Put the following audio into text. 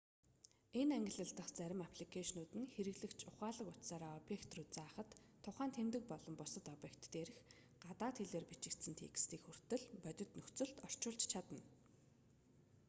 энэ ангилал дах зарим апликэйшнууд нь хэрэглэгч ухаалаг утсаараа объект руу заахад тухайн тэмдэг болон бусад объект дээрх гадаад хэлээр бичигдсэн текстийг хүртэл бодит нөхцөлд орчуулж чадна